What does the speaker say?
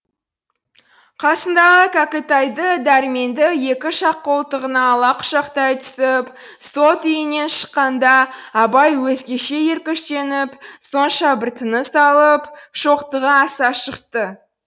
қасындағы кәкітайды дәрменді екі жақ қолтығына ала құшақтай түсіп сот үйінен шыққанда абай өзгеше өркештеніп сонша бір тыныс алып шоқтығы аса шықты